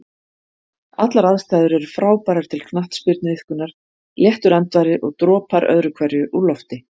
Allar aðstæður er frábærar til knattspyrnuiðkunar, léttur andvari og dropar öðru hverju úr lofti.